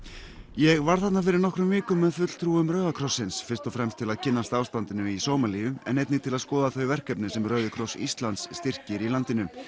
ég var þarna fyrir nokkrum vikum með fulltrúum Rauða krossins fyrst og fremst til að kynnast ástandinu í Sómalíu en einnig til að skoða þau verkefni sem Rauði kross Íslands styrkir í landinu